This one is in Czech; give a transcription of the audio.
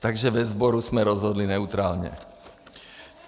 Takže ve sboru jsme rozhodli neutrálně.